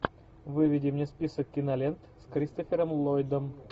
выведи мне список кинолент с кристофером ллойдом